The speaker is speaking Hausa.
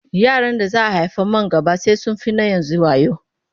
Yaran da za a haifa man gaba sai sun fi na yanzu wayo.